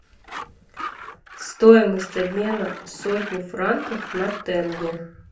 стоимость обмена сотни франков на тенге